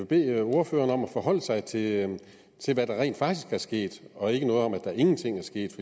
bede ordføreren om at forholde sig til til hvad der rent faktisk er sket og ikke sige noget om at der ingenting er sket